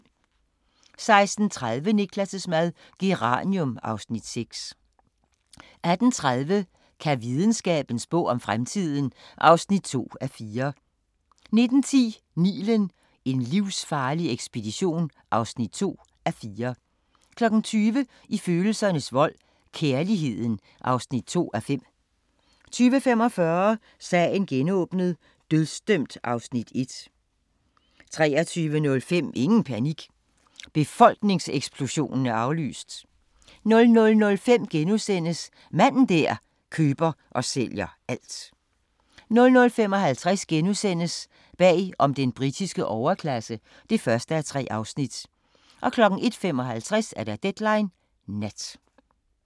16:30: Niklas' mad - Geranium (Afs. 6) 18:30: Kan videnskaben spå om fremtiden? (2:4) 19:10: Nilen: En livsfarlig ekspedition (2:4) 20:00: I følelsernes vold – Kærligheden (2:5) 20:45: Sagen genåbnet: Dødsdømt (Afs. 1) 23:05: Ingen panik – befolkningseksplosionen er aflyst! 00:05: Manden der køber og sælger alt * 00:55: Bag om den britiske overklasse (1:3)* 01:55: Deadline Nat